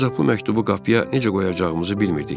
Ancaq bu məktubu qapıya necə qoyacağımızı bilmirdik.